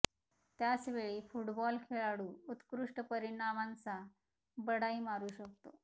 त्याच वेळी फुटबॉल खेळाडू उत्कृष्ट परिणामांचा बढाई मारू शकतो